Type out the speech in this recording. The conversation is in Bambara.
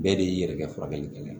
Bɛɛ de y'i yɛrɛ ka furakɛli kɛ